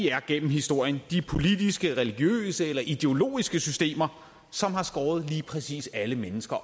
er gennem historien de politiske religiøse eller ideologiske systemer som har skåret lige præcis alle mennesker